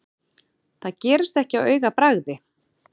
Það gerist ekki á augabragði.